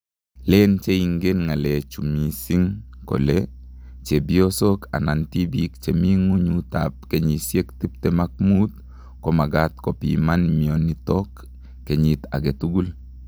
Len che ingen ngalek chu mising kole chwpiosok anan tibik che mi nguny ap kenyishek tiptim ak mut ko magat kopiman mionitok kenyit agei tugul.